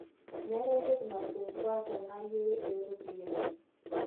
Meetai ntoki nasumbua tana yiere ee ropiyiani